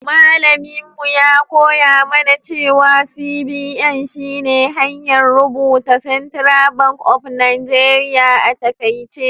Mallaminmu ya koya mana cewa CBN shi ne hanyar rubuta Central bank of Nigeria a taƙaice.